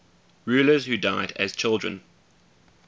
rulers who died as children